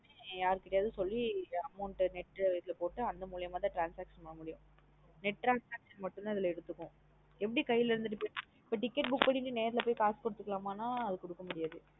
யார் கிட்டயாவது சொல்லி amount net இது போட்டு அந்த முளியமதான் transaction பண்ண முடியும் net transaction மட்டும் தான் இதுல எடுத்துக்கும் எப்டி கைல இருந்து து போய் ticket book பண்ணிட்டு நேர்ல போய் காசு முடியதுகுடுதுகலனா அது குடுக்க முடியாது.